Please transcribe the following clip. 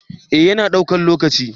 eh ya na daukan lokaci